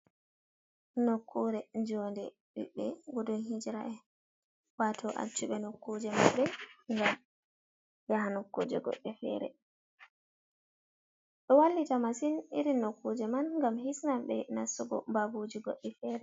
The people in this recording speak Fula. Nokkure jonde biɓbe gudun hijira en. wato acciɓe nokkuje maɓɓe ngam ɓe yaha nokkuje goɗɗe fere. Ɗo wallita masin iri nokkuje man gam hisnan be nastugo babuje goɗɗi fere.